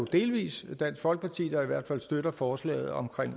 delvis dansk folkeparti der i hvert fald støtter forslaget om